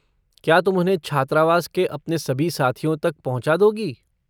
क्या तुम उन्हें छात्रावास के अपने सभी साथियों तक पहुँचा दोगी?